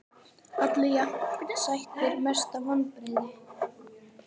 Allir jafn sætir Mestu vonbrigði?